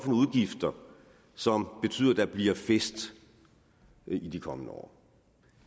udgifter som betyder at der bliver fest i de kommende år